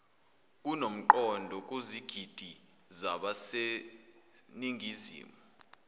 okunomqondo kuzigidi zabaseningizimu